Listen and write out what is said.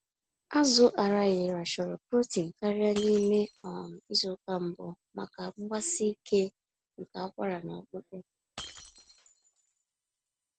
Azụ Araghịra chọrọ protein karịa n'ime um izuka mbụ, maka mgbsike nke akwara na ọkpụkpụ.